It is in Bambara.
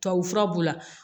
Tubabufura b'u la